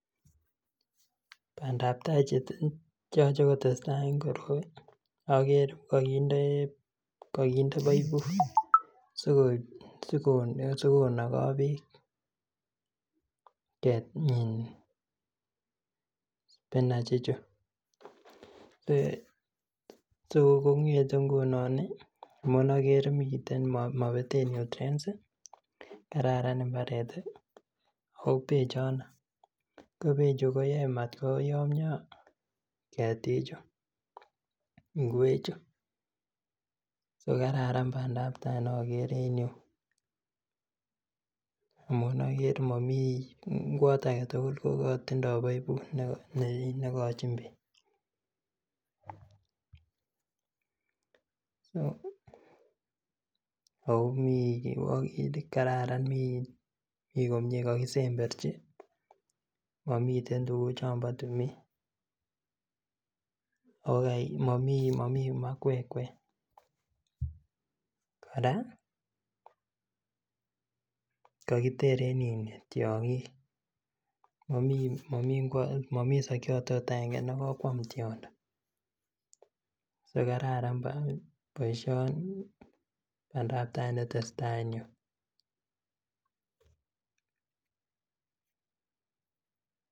Bandaptaa cheyoche kotesetai en koroi ko oker kokinde poiput sikonogo beek um spinach ichu so kongete ngunon ih amun okere miten mobeten nutrients ih kararan mbaret ih ako bechono ko bechu koyoe matkoyomyo ketiik chu ngwek chu ko kararan bandaptaa nokere en yuu amun okere momii ngwot aketugul kotindoo poiput nekochin ako kararan mi komie kokisemberchi momiten tuguk chombo timin ako momii makwekkwek kora kokiteren tiong'ik momii sokiot ot agenge nekokwam tiondo kokararan boisioni ana bandaptaa netesetai en yuu